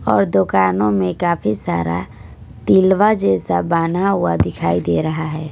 और दुकानों में काफी सारा तिलवा जैसा बना हुआ दिखाई दे रहा है।